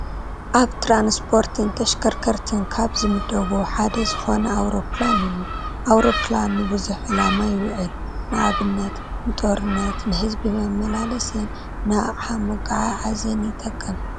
ኣብ ትራንስፖርትን ተሽከርከርትን ካብ ዝምደቡ ሓደ ዝኾነ ኣውሮኘላን እዩ፡፡ ኣውሮኘላን ንብዙሕ ዕላማ ይውዕል፡፡ ንኣብነት ንጦርነት ፣ ንህዝቢ መመላሲን ንኣቕሓ መጓዓዓዝን ይጠቅም፡፡